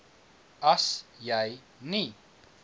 as jy nie